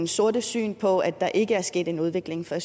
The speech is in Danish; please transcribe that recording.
sorte syn på at der ikke er sket en udvikling for